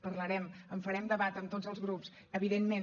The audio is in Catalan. parlarem en farem debat amb tots els grups evidentment